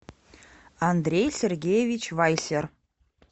андрей сергеевич вайсер